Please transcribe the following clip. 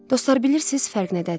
Dostlar, bilirsiz fərq nədədir?